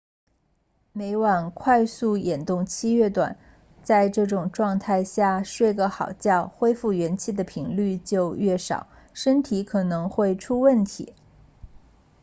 每晚快速眼动期 rem 越短在这种状态下睡个好觉恢复元气的频率就越少身体可能会出问题